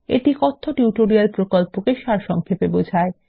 এটি কথ্য টিউটোরিয়াল প্রকল্পকে সারসংক্ষেপে বোঝায়